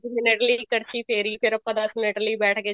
minute ਲਈ ਕੜਛੀ ਫੇਰੀ ਫ਼ੇਰ ਆਪਾਂ ਦਸ ਮਿੰਟ ਲਈ ਬੈਠ ਗਏ